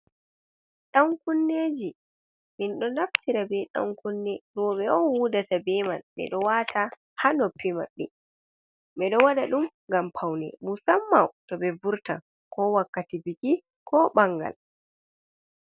Ɗan-kunneji min ɗo naftira be ɗan-kunne roɓe on hudata be man. Ɓeɗo wata ha noppi maɓɓe ɓeɗo waɗa ɗum ngam faune musamman to ɓe vurtan ko wakkati biki ko ɓangal.